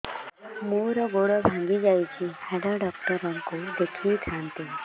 ମୋର ଗୋଡ ଭାଙ୍ଗି ଯାଇଛି ହାଡ ଡକ୍ଟର ଙ୍କୁ ଦେଖେଇ ଥାନ୍ତି